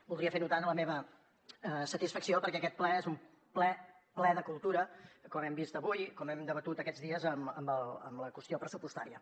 voldria fer notar la meva satisfacció perquè aquest ple és un ple ple de cultura com hem vist avui com hem debatut aquests dies amb la qüestió pressupostària